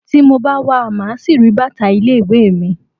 Tí mo bá wa, màá ṣì rí bàtà ilé ìwé mi.